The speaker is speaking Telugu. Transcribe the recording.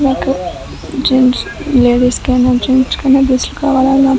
నాకు జెంట్స్ లేడీస్ కైనా జెంట్స్ కైనా డ్రెస్సులు కావాలి అనుకున్నప్పుడు --